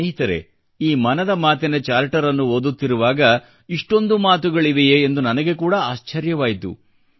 ಸ್ನೇಹಿತರೇ ಈ ಮನದ ಮಾತಿನ ಚಾರ್ಟರ್ನ್ನು ನಾನು ಓದುತ್ತಿರುವಾಗ ಇಷ್ಟೊಂದು ಮಾತುಗಳಿವೆಯೇ ಎಂದು ನನಗೆ ಕೂಡ ಆಶ್ಚರ್ಯವಾಯಿತು